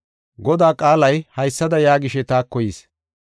Godaa qaalay haysada yaagishe taako yis.